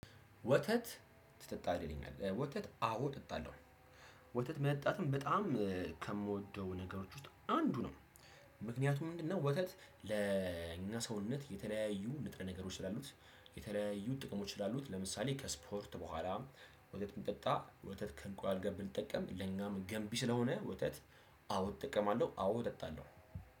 ወተት ትጠጣለህ ይለኛል ወተት አዎ እጠጣለሁ ወተት መጠጣትም በጣም ከምወደው ነገሮች ውስጥ አንዱ ነው። ምክንያቱም ምንድነው? ወተት ለእኛ ሰውነት የተለያዩ ንጥረ ነገሮች ስላሉት። የተለያዩ ጥቅሞች ስላሉት ለምሳሌ ከስፖርት በኋላ። ወተት ብንጠጣ ወተት ከእንቁላል ጋር ብንጠጣም ለኛም ገንቢ ስለሆነ ወተት። አዎ እጠቀማለሁ አዎ እጠጣለሁ።